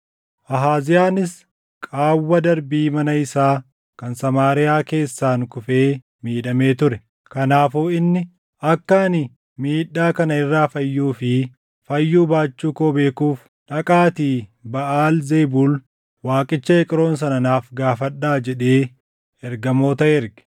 Ahaaziyaanis qaawwa darbii mana isaa kan Samaariyaa keessaan kufee miidhamee ture. Kanaafuu inni, “Akka ani miidhaa kana irraa fayyuu fi fayyuu baachuu koo beekuuf dhaqaatii Baʼaal Zebuul waaqicha Eqroon sana naaf gaafadhaa” jedhee ergamoota erge.